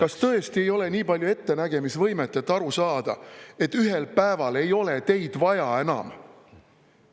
Kas tõesti ei ole nii palju ettenägemisvõimet, et aru saada, et ühel päeval ei ole teid vaja enam?